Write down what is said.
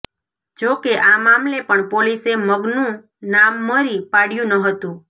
જો કે આ મામલે પણ પોલીસે મગનુ નામ મરી પાડયુ ન હતુ